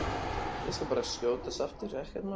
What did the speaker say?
Ég skal bara skjótast aftur, ekkert mál!